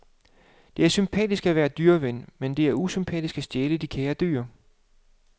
Det er sympatisk at være dyreven, men det er usympatisk at stjæle de kære dyr.